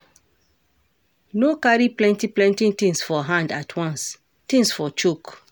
No carry plenty plenty things for hand at once, things for choke